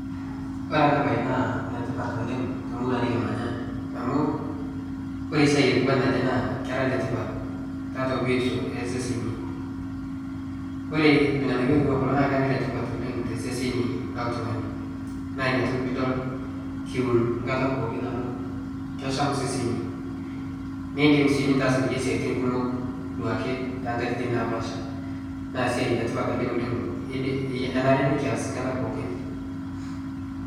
Ore ena bae naa enetipat oooleng to murua nikitii nikimanya amu ore siai naiku ji naa kera letipat keeta biotisho eseseni. Ore irnganayio ota kulo naa kera letipat oooleng te sesen le ltungani naa ina toki pidol kiun kata pooki amu kesham seseni. Nidim si nitaas3kulie siaitin kumok duake to katitin naapasha na siai letipat ele oooleng, enare nikias kata pookin.